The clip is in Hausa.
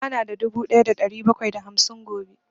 Ba na da dubu ɗaya da ɗari bakwai da hamsin gobe